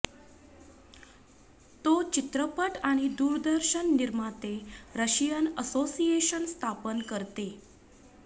तो चित्रपट आणि दूरदर्शन निर्माते रशियन असोसिएशन स्थापन करते